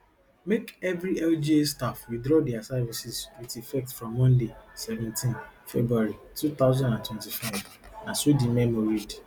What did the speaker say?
make evri lga staff withdraw dia services wit effect from monday seventeen february two thousand and twenty-five na so di memo read